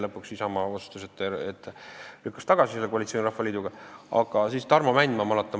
Lõpuks lükkas Isamaa koalitsiooni Rahvaliiduga tagasi.